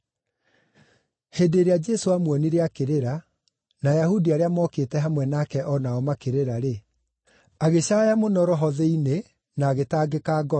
Hĩndĩ ĩrĩa Jesũ aamuonire akĩrĩra, na Ayahudi arĩa mokĩte hamwe nake o nao makĩrĩra-rĩ, agĩcaaya mũno roho-inĩ thĩinĩ na agĩtangĩka ngoro.